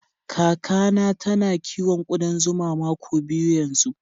Kaka na ta na kiwon kudan zuma mako biyu yanzu.